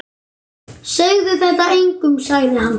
Segðu þetta engum sagði hann.